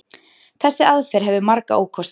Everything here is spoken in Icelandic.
Þessi aðferð hefur marga ókosti.